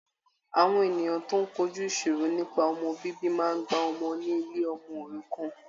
Àwọn ènìyàn tó ń kojú ìṣòro nípa ọmọ bíbí máa gbà ọmọ ni ilé ọmọ òrukàn.